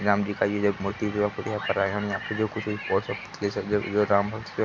राम जी का ये जो एक मूर्ति जो है। हम यहाँ पे जो कुछ भी ये राम भक्त --